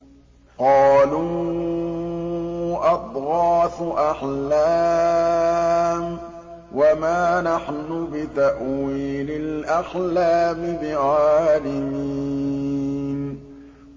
قَالُوا أَضْغَاثُ أَحْلَامٍ ۖ وَمَا نَحْنُ بِتَأْوِيلِ الْأَحْلَامِ بِعَالِمِينَ